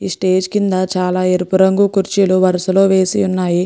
ఈ స్టేజ్ కింద చాలా ఎరుపు రంగు కుర్చీలు వరసలో వేసి ఉన్నాయి.